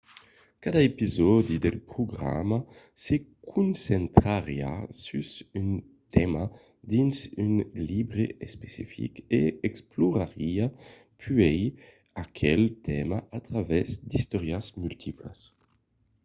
cada episòdi del programa se concentrariá sus un tèma dins un libre especific e explorariá puèi aquel tèma a travèrs d'istòrias multiplas